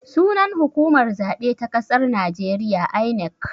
Sunan hukumar zaɓe ta ƙasar najeriya 'I.N.E.C'